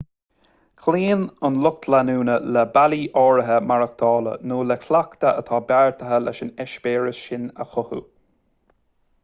cloíonn an lucht leanúna le bealaí áirithe maireachtála nó le cleachtaidh atá beartaithe leis na heispéiris sin a chothú